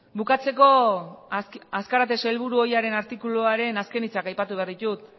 bukatzeko azkarate sailburu ohiaren artikuluaren azken hitzak aipatu behar ditut